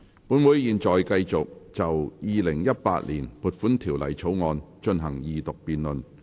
本會現在繼續就《2018年撥款條例草案》進行二讀辯論。